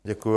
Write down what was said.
Děkuju.